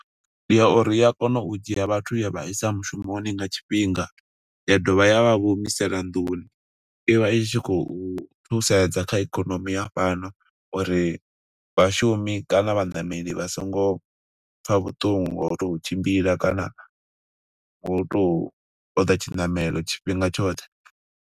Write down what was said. Ndi ya uri i ya kona u dzhia vhathu ya vha isa mushumoni nga tshifhinga, ya dovha ya vha humisela nḓuni. I vha i tshi khou thusedza kha ikonomi ya fhano, uri vhashumi kana vhaṋameli vha songo pfa vhuṱungu ho to u tshimbila kana, ngo u tou ṱoḓa tshinamelo tshifhinga tshoṱhe.